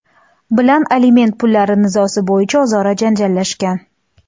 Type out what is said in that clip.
bilan aliment pullari nizosi bo‘yicha o‘zaro janjallashgan.